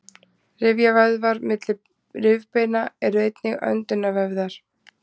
rifjavöðvar milli rifbeina eru einnig öndunarvöðvar